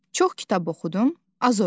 Çox kitab oxudum, az oynadım.